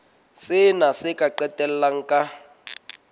sena se ka qetella ka